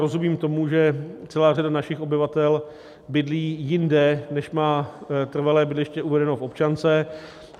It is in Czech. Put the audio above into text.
Rozumím tomu, že celá řada našich obyvatel bydlí jinde, než má trvalé bydliště uvedené v občance.